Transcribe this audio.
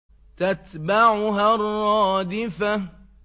تَتْبَعُهَا الرَّادِفَةُ